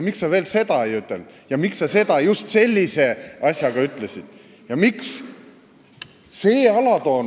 Miks sa veel seda ei öelnud ja miks sa seda just sellise asjaga ütlesid?